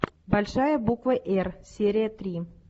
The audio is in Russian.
большая буква р серия три